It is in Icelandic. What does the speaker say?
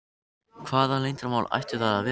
Hvaða leyndarmál ættu það að vera?